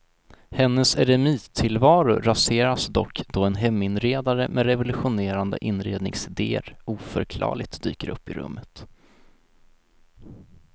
Hennes eremittillvaro raseras dock då en heminredare med revolutionerande inredningsidéer oförklarligt dyker upp i rummet.